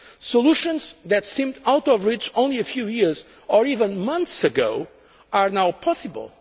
Solutions that seemed out of reach only a few years or even months ago are now possible.